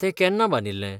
तें केन्ना बांदिल्लें?